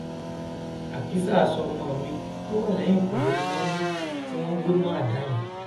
àkísà aṣọ ọmọ mi tó wà lẹyìnkùlé ni wọn mú tí wọn wé mọ àdá yẹn